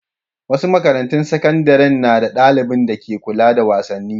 Wasu makarantun sakandare na da ɗalibin dake kula da wasanni.